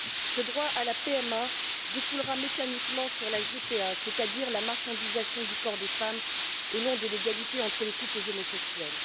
Ce droit à la PMA découlera mécaniquement sur la GPA, c'est à dire la marchandisation du corps des femmes, au nom de l'égalité entre les couples homosexuels.